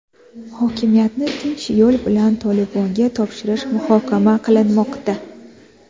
Hokimiyatni tinch yo‘l bilan "Toliban"ga topshirish muhokama qilinmoqda.